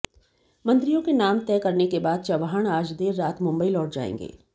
मंत्रियों का नाम तय करने के बाद चव्हाण आज देर रात मुंबई लौट जाएंगे